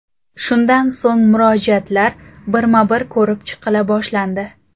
Shundan so‘ng murojaatlar birma-bir ko‘rib chiqila boshlandi.